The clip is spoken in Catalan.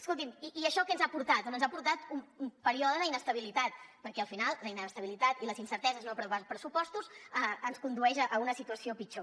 escolti’m i això què ens ha portat doncs ens ha portat un període d’inestabilitat perquè al final la inestabilitat i les incerteses de no aprovar pressupostos ens condueix a una situació pitjor